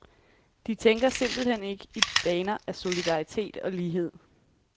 De tænker simpelt hen ikke i baner af solidaritet og lighed.